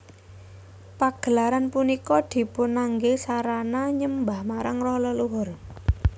Pagelaran punika dipunanggé sarana nyembah marang roh leluhur